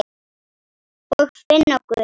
Og finna Guð.